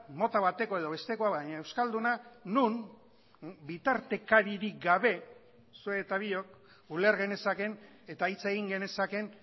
mota bateko edo bestekoa baina euskalduna non bitartekaririk gabe zuek eta biok uler genezakeen eta hitz egin genezakeen